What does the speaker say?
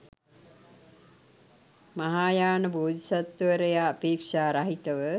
මහායාන බෝධිසත්වවරයා අපේක්‍ෂා රහිතව